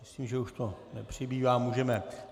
Myslím, že už to nepřibývá, můžeme.